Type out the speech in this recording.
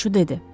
Ovçu dedi.